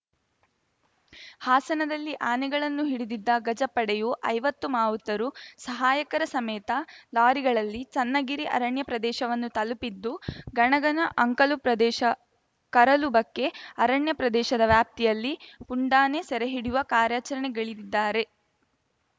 ಹಾಸನದಲ್ಲಿ ಆನೆಗಳನ್ನು ಹಿಡಿದಿದ್ದ ಗಜ ಪಡೆಯು ಐವತ್ತು ಮಾವುತರು ಸಹಾಯಕರ ಸಮೇತ ಲಾರಿಗಳಲ್ಲಿ ಚನ್ನಗಿರಿ ಅರಣ್ಯ ಪ್ರದೇಶವನ್ನು ತಲುಪಿದ್ದು ಗಣಗನ ಅಂಕಲು ಪ್ರದೇಶ ಕರಲುಬಕ್ಕೆ ಅರಣ್ಯ ಪ್ರದೇಶದ ವ್ಯಾಪ್ತಿಯಲ್ಲಿ ಪುಂಡಾನೆ ಸೆರೆ ಹಿಡಿಯುವ ಕಾರ್ಯಾಚರಣೆಗಿಳಿದಿದ್ದಾರೆ